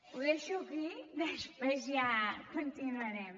ho deixo aquí després ja continuarem